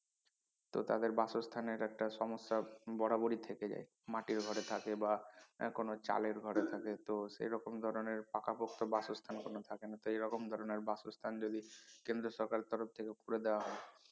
তো তাদের বাসস্থানের একটা সমস্যা বরাবরই থেকে যায় মাটির ঘরে থাকে বা এ কোনো চালের ঘরে থাকে তো সে রকম ধরনের পাকাপোক্ত কোনো বাসস্থান কোনো থাকে না তো এরকম ধরনের বাসস্থান যদি কেন্দ্রীয় সরকার এর তরফ থেকে করে দেয়া হয়